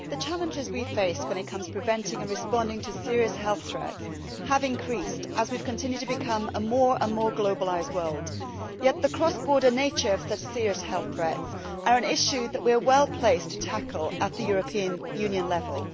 Mr President, the challenges we face when it comes to preventing and responding to serious health threats have increased as we have continued to become a more and more globalised world, yet the cross border nature of such serious health threats is an issue that we are well placed to tackle at European Union level.